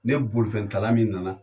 Ne bolifɛntala min nana